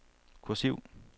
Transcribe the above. kursiv